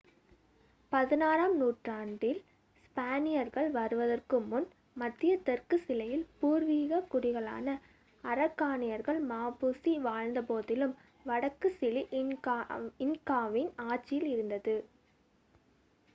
16 ம் நூற்றாண்டில் ஸ்பானியர்கள் வருவதற்கு முன் மத்திய தெற்கு சிலியில் பூர்வீகக் குடிகளான அரகாணியர்கள் மாபுசி வாழ்ந்த போதிலும் வடக்கு சிலி இன்காவின் ஆட்சியில் இருந்தது